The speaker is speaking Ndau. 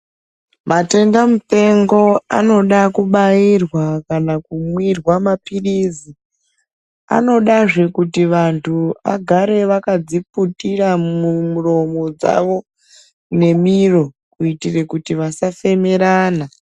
Matenda mupengo anoda kubairwa kana kumwirwa maphirizi, anodazve kuti vantu agare vakadziputira mumuromo dzavo nemiro kuitire kuti vasafemerana.